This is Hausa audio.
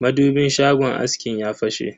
madubin shagon askin ya fashe.